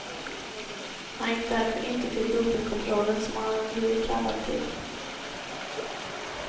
Han gick därför inte till dopingkontrollen som han hade blivit kallad till.